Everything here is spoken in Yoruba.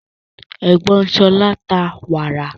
Ègbón Sola ń ta wàrà